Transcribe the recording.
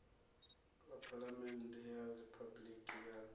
ḽa phaḽamennde ya riphabuliki ya